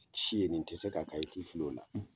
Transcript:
Ci ye nin tɛ se k'a k'a ye ti fili o la.